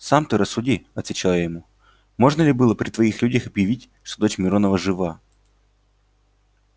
сам ты рассуди отвечал я ему можно ли было при твоих людях объявить что дочь миронова жива